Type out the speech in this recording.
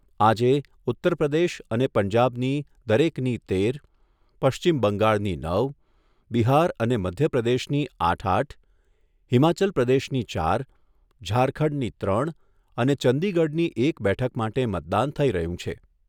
આજે ઉત્તરપ્રદેશ અને પંજાબની દરેકની તેર, પશ્ચિમ બંગાળની નવ, બિહાર અને મધ્યપ્રદેશની આઠ આઠ, હિમાચલ પ્રદેશની ચાર, ઝારખંડની ત્રણ અને ચંદીગઢની એક બેઠક માટે મતદાન થઈ રહ્યું છે.